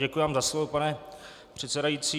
Děkuji vám za slovo, pane předsedající.